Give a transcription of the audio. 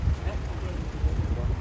Nə problem, nə problem?